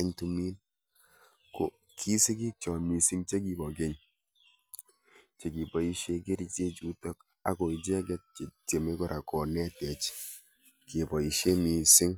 ing' tumiin ko kisigiik chook misiing' chekibo keny' chekiboisie kericheck chuutok akoicheeget chetyeme kora konetech keboisie miising'